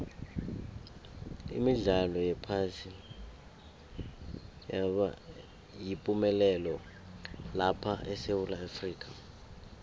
imidlalo yephasi yaba yipumelelo lapha esewula afrika